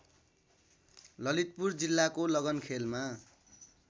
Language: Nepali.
ललितपुर जिल्लाको लगनखेलमा